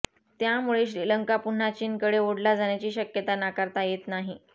त्यामुळे श्रीलंका पुन्हा चीनकडे ओढला जाण्याची शक्यता नाकारता येत नाही